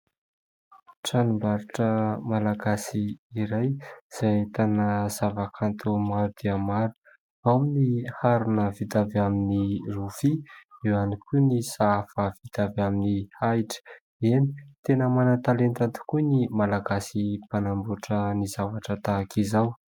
Tranombarotra malagasy iray izay ahitana zavakanto maro dia maro, ao ny harona vita avy amin'ny rofia, eo ihany koa ny sahafa vita avy amin'ny ahitra. Eny tena manan-talenta tokoa ny malagasy mpanambotra ny zavatra tahaka izao.